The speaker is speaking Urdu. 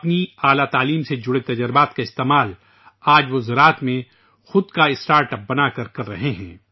اپنی اعلی تعلیم سے وابستہ تجربات کا استعمال آج وہ زراعت میں اپنا اسٹارٹ اپ بنا کر کر رہے ہیں